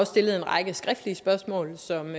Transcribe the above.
stillet en række skriftlige spørgsmål som